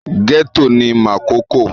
Gẹ́tọ̀ ni Makòko